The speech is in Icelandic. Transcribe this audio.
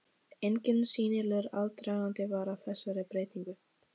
Enginn sýnilegur aðdragandi var að þessari breytingu.